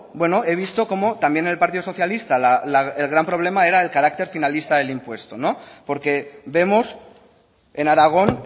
he visto cómo también el partido socialista el gran problema era el carácter finalista del impuesto porque vemos en aragón